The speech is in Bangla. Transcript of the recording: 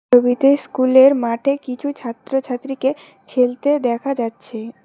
ছবিতে স্কুলের মাঠে কিছু ছাত্রছাত্রীকে খেলতে দেখা যাচ্ছে।